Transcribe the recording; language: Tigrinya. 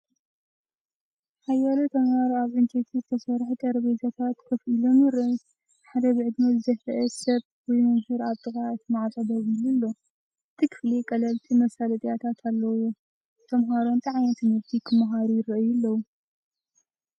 ሓያሎ ተምሃሮ ኣብ ዕንጨይቲ ዝተሰርሑ ጠረጴዛታት ኮፍ ኢሎም ይረኣዩ። ሓደ ብዕድመ ዝደፍአ ሰብ ወይ መምህር ኣብ ጥቓ እቲ ማዕጾ ደው ኢሉ ኣሎ። እቲ ክፍሊ ቀለልቲ መሳለጥያታት ኣለዎ። ተምሃሮ እንታይ ዓይነት ትምህርቲ ክመሃሩ ይረኣዩ ኣለዉ?